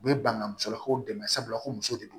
U bɛ ban ka musolakaw dɛmɛ sabula ko muso de don